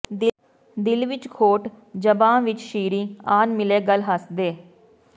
ਦਿਲ ਵਿੱਚ ਖੋਟ ਜ਼ਬਾਂ ਵਿਚ ਸ਼ੀਰੀਂ ਆਨ ਮਿਲੇ ਗੱਲ ਹੱਸ ਦੇ